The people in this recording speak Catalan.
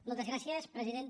moltes gràcies presidenta